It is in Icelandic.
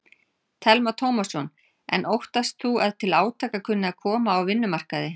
Telma Tómasson: En óttast þú að til átaka kunni að koma á vinnumarkaði?